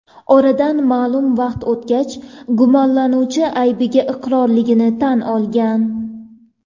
Oradan ma’lum vaqt o‘tgach gumonlanuvchi aybiga iqrorligini tan olgan.